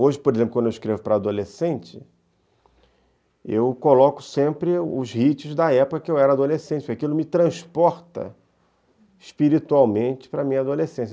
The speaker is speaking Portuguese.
Hoje, por exemplo, quando eu escrevo para adolescente, eu coloco sempre os hits da época em que eu era adolescente, porque aquilo me transporta espiritualmente para a minha adolescência.